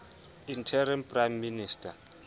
interim prime minister